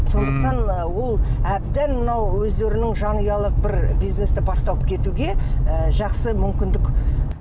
сондықтан ол әбден мынау өздерінің жанұялық бір бизнесті бастап кетуге ы жақсы мүмкіндік